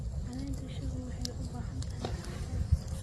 Caleenta shaahu waxay u baahan tahay cadceed.